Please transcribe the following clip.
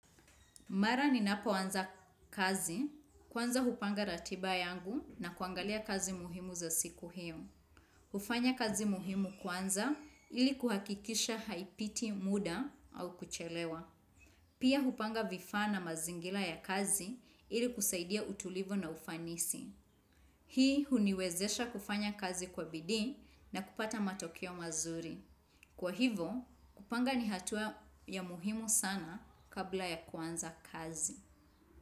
Mara ninapoanza kazi, kwanza hupanga ratiba yangu na kuangalia kazi muhimu za siku hiyo. Hufanya kazi muhimu kwanza ili kuhakikisha haipiti muda au kuchelewa. Pia hupanga vifaa na mazingira ya kazi ili kusaidia utulivu na ufanisi. Hii huniwezesha kufanya kazi kwa bidii na kupata matokeo mazuri. Kwa hivo, hupanga ni hatua ya muhimu sana kabla ya kuanza kazi.